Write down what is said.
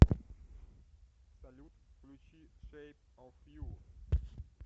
салют включи шейп оф ю